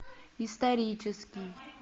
исторический